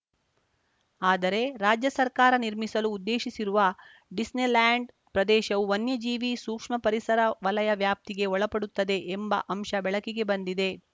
ಆದರೆ ರಾಜ್ಯ ಸರ್ಕಾರ ನಿರ್ಮಿಸಲು ಉದ್ದೇಶಿಸಿರುವ ಡಿಸ್ನಿಲ್ಯಾಂಡ್‌ ಪ್ರದೇಶವು ವನ್ಯಜೀವಿ ಸೂಕ್ಷ್ಮ ಪರಿಸರ ವಲಯ ವ್ಯಾಪ್ತಿಗೆ ಒಳಪಡುತ್ತದೆ ಎಂಬ ಅಂಶ ಬೆಳಕಿಗೆ ಬಂದಿದೆ